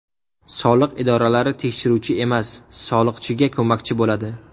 Soliq idoralari tekshiruvchi emas, soliqchiga ko‘makchi bo‘ladi.